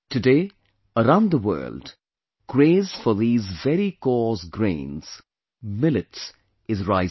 Today, around the world, craze for these very coarse grains, millets, is rising